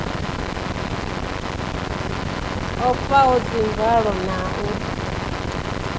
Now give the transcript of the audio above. o faho dzimvalo na u